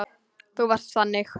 Þú varst þannig.